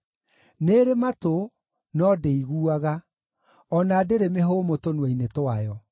nĩĩrĩ matũ, no ndĩiguaga, o na ndĩrĩ mĩhũmũ tũnua-inĩ twayo.